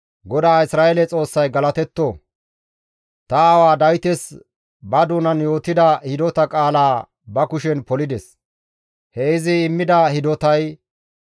«GODAA Isra7eele Xoossay galatetto! Ta aawa Dawites ba doonan yootida hidota qaalaa ba kushen polides; he izi immida hidotay,